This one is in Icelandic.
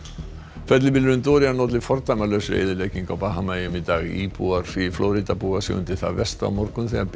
fellibylurinn Dorian olli fordæmalausri eyðileggingu á Bahamaeyjum í dag íbúar í Flórída búa sig undir það versta á morgun þegar